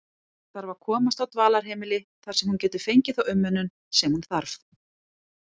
Þarf að komast á dvalarheimili þar sem hún getur fengið þá umönnun sem hún þarf.